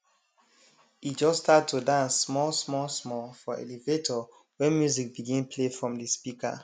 e just start to dance small small small for elevator when music begin play from de speaker